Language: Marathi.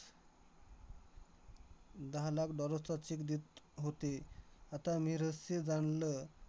दहा लाख dollars चा cheque देत होते. आता मी रहस्य जाणलं